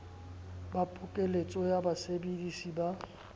ba pokeletso ya basebedisi ba